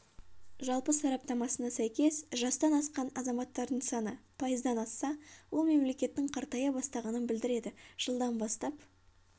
жалпы сараптамасына сәйкес жастан асқан азаматтардың саны пайыздан асса ол мемлекеттің қартая бастағанын білдіреді жылдан бастап